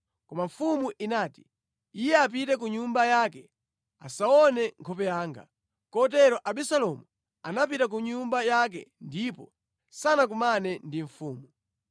Koma mfumu inati, “Iye apite ku nyumba yake; asaone nkhope yanga.” Kotero Abisalomu anapita ku nyumba yake ndipo sanakumane ndi mfumu.